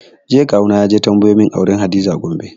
Jiya kawu na yaje tambayo mun auren hadiza a Gombe